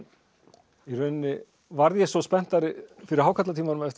í rauninni varð ég svo spenntari fyrir hákarlatímanum eftir